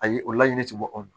A ye o laɲini tɛ bɔ anw bolo